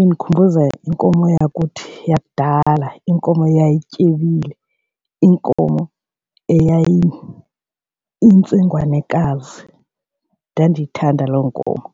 undikhumbuza inkomo yakuthi yakudala inkomo eyayityebile, iinkomo eyayiyintsengwanekazi. Ndandiyithanda loo nkomo.